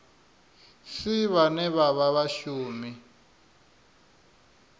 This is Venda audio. si vhane vha vha vhashumi